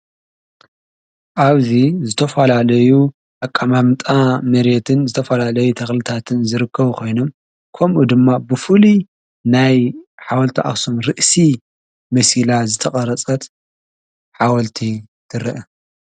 ኣብዙ ዝተፍላለዩ ኣቃማምጣ መሬየትን ዝተፍላለዩ ተኽልታትን ዝርከው ኾይኖ ከምኡ ድማ ብፉሊ ናይ ሓወልቲ ኣስም ርእሲ መሲላ ዝተቐረጸት ሓወልቲ ትርአ።